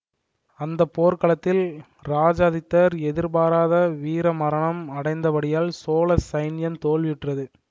அந்த போர்க்களத்தில் இராஜாதித்தர் எதிர்பாராத வீர மரணம் அடைந்தபடியால் சோழ சைன்யம் தோல்வியுற்றது